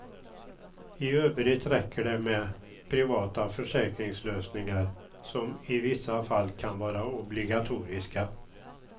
I övrigt räcker det med privata försäkringslösningar, som i vissa fall kan vara obligatoriska.